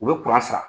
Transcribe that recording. U bɛ sara